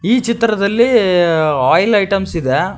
ಈ ಚಿತ್ರದಲ್ಲಿ oil items ಇದೆ.